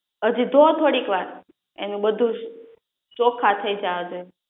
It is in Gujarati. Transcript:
હજી ધો થોડીક વાર એનુ બધુજ ચોખા થઈ જાવા દે